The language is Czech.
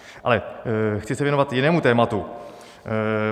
Ale chci se věnovat jinému tématu.